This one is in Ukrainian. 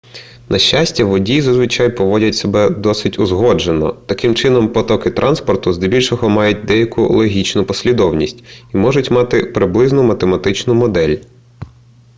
на щастя водії зазвичай поводять себе досить узгоджено таким чином потоки транспорту здебільшого мають деяку логічну послідовність і можуть мати приблизну математичну модель